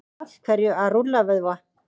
af hverju að rúlla vöðva